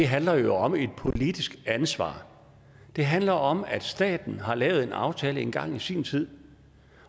handler jo om et politisk ansvar det handler om at staten har lavet en aftale engang i sin tid